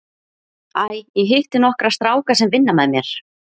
Æ, ég hitti nokkra stráka sem vinna með mér.